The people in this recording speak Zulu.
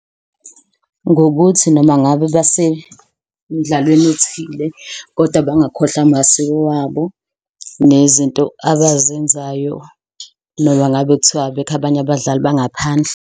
Ngokuthi noma ngabe basemidlalweni othile koda bangakhohlwa amasiko wabo nezinto abazenzayo. Noma ngabe kuthiwa abekho abanye abadlali bangaphandle.